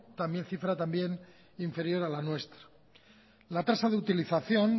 cifra también inferior a la nuestra la tasa de utilización